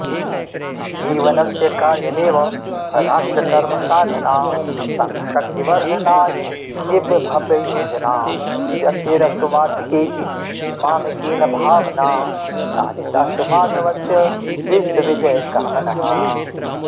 जीवनस्य कार्यमेव राष्ट्रकर्मसाधना सङ्घशक्तिवर्धनाय दिव्यभव्ययोजना व्यक्तिरस्तु वर्तिकेति मामकीनभावना साधितास्तु माधवस्य विश्वविजयकामना